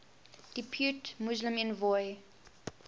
depute muslim envoy